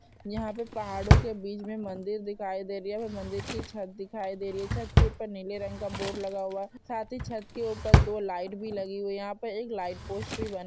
यहाँ पे पहाड़ों के बीच मे मंदिर दिखाई दे रही है यहाँ पे मंदिर की छत दिखाई दे रही है छत के ऊपर नीले रंग का बोर्ड लगा हुआ है साथ ही छत के ऊपर दो लाईट भी लगी हुई है यहाँ पे एक लाईट पोस्ट भी बना ---